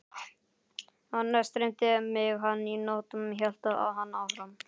Annars dreymdi mig hana í nótt, hélt hann áfram.